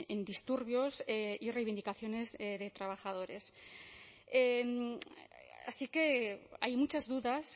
en disturbios y reivindicaciones de trabajadores así que hay muchas dudas